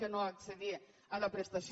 que no accedir a la prestació